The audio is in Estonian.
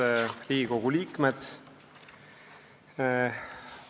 Head Riigikogu liikmed!